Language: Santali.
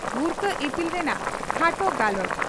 ᱵᱷᱩᱨᱠᱟᱹ ᱤᱯᱤᱞ ᱨᱮᱱᱟᱜ ᱠᱷᱟᱴᱚ ᱜᱟᱞᱚᱪ